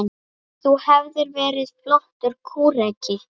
Þú hefðir verið flottur kúreki.